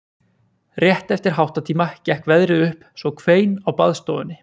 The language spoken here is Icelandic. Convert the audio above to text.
Rétt eftir háttatíma gekk veðrið upp svo hvein á baðstofunni